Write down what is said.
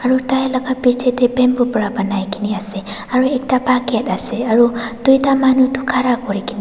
taila ka bichae tae bamboo pra banai kena ase aro ekta bucket ase aro tuita manu tu khara kurikaena--